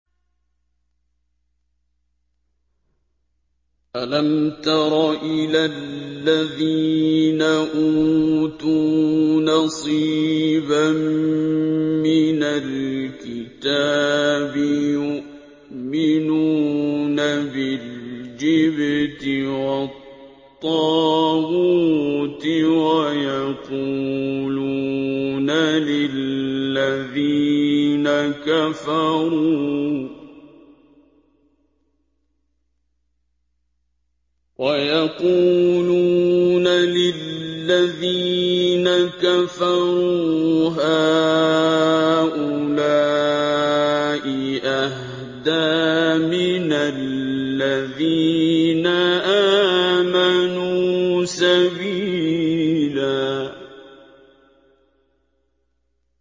أَلَمْ تَرَ إِلَى الَّذِينَ أُوتُوا نَصِيبًا مِّنَ الْكِتَابِ يُؤْمِنُونَ بِالْجِبْتِ وَالطَّاغُوتِ وَيَقُولُونَ لِلَّذِينَ كَفَرُوا هَٰؤُلَاءِ أَهْدَىٰ مِنَ الَّذِينَ آمَنُوا سَبِيلًا